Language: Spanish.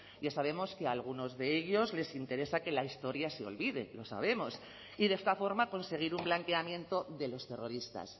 ya sabemos que a algunos de ellos les interesa que la historia se olvide lo sabemos y de esta forma conseguir un blanqueamiento de los terroristas